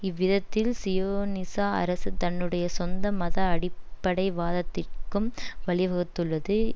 இவ்விதத்தில் சியோனிச அரசு தன்னுடைய சொந்த மத அடிப்படைவாதத்திற்கும் வழிவகுத்துள்ளது